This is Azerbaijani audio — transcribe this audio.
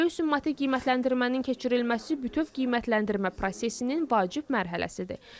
Böyük summativ qiymətləndirmənin keçirilməsi bütöv qiymətləndirmə prosesinin vacib mərhələsidir.